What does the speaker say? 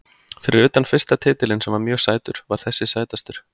Fyrir utan fyrsta titilinn sem var mjög sætur var þessi sætastur.